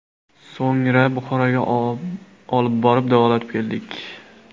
So‘ngra Buxoroga olib borib davolatib keldik.